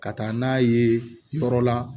Ka taa n'a ye yɔrɔ la